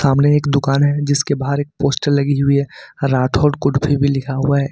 सामने एक दुकान है जिसके बाहर एक पोस्टर लगी हुई है राठौड़ कुल्फी भी लिखा हुआ है।